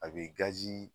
A bɛ